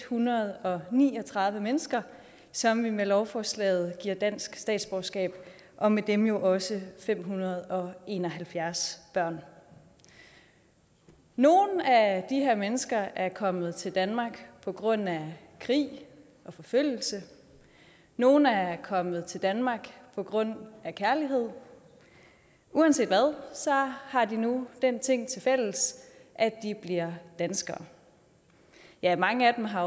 hundrede og ni og tredive mennesker som vi med lovforslaget giver dansk statsborgerskab og med dem jo også fem hundrede og en og halvfjerds børn nogle af de her mennesker er kommet til danmark på grund af krig og forfølgelse nogle er er kommet til danmark på grund af kærlighed uanset hvad har de nu den ting tilfælles at de bliver danskere ja mange af dem har